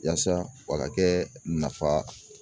Yaasa wa ka kɛ nafa